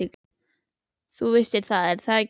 Þú vissir það, er það ekki?